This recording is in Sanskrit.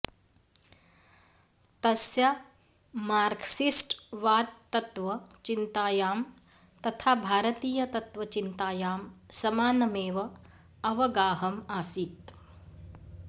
तस्य मार्क्सिस्ट्वाद्तत्वचिन्तायां तथा भारतीय तत्वचिन्तायां समानमेव अवगाहम् आसीत्